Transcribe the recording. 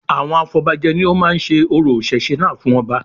Àwọn afọbajẹ ni ó máa ń se orò ìṣẹ̀ṣe náà fún ọba